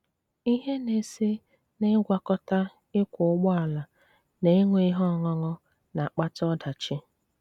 Ihe na-esi n'ịgwakọta ịkwọ ụgbọala na ịṅụ ihe ọṅụṅụ na-akpata ọdachi.